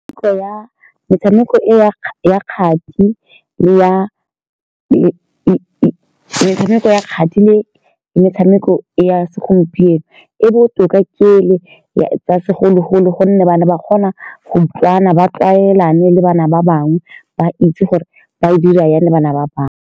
ya metshameko e ya ya kgati le ya . Metshameko ya kgati le metshameko ya segompieno e botoka ke e le ya, tsa segologolo, ka gonne ba ne ba kgona go utlwana, ba tlwaelane le bana ba bangwe, ba itse gore ba e dira jang le bana ba bangwe.